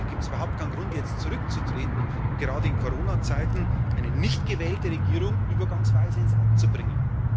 Deswegen gibt es überhaupt keinen Grund, jetzt zurückzutreten und gerade in Coronazeiten eine nicht gewählte Regierung übergangsweise ins Amt zu bringen.